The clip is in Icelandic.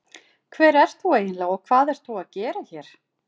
Hver ert þú eiginlega og hvað ert þú að gera hér?